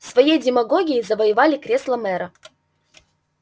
своей демагогией завоевали кресло мэра